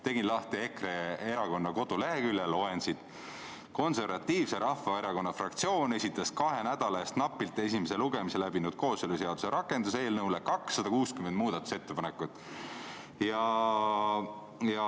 Teen lahti EKRE kodulehekülje ja loen siit, kuidas Eesti Konservatiivse Rahvaerakonna fraktsioon esitas kahe nädala eest napilt esimese lugemise läbinud kooseluseaduse rakenduseelnõu kohta 260 muudatusettepanekut.